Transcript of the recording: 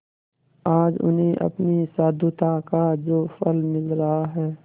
आज उन्हें अपनी साधुता का जो फल मिल रहा है